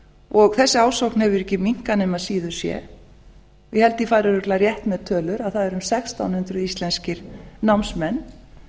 og þessi ásókn hefur ekki minnkað nema síður sé ég held ég fari örugglega rétt með tölur að það eru um sextán hundruð íslenskir námsmenn